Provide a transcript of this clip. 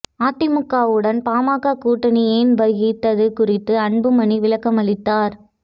அதிமுகவுடன் பாமக கூட்டணி ஏன் வகித்தது குறித்த அன்புமணி விளக்கமளித்தார்